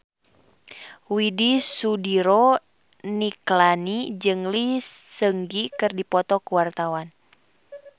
Widy Soediro Nichlany jeung Lee Seung Gi keur dipoto ku wartawan